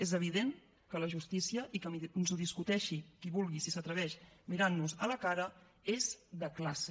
és evident que la justícia i que ens ho discuteixi qui vulgui si s’atr veix mirant nos a la cara és de classe